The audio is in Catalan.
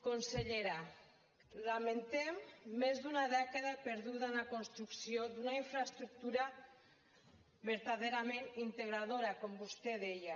consellera lamentem més d’una dècada perduda en la construcció d’una infraestructura vertaderament integradora com vostè deia